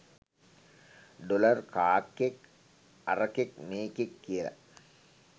Dollar කාක්කෙක් අරකෙක් මේකෙක් කියල.